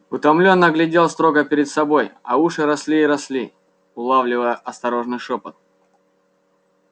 утомлённо глядел строго перед собой а уши росли и росли улавливая осторожный шёпот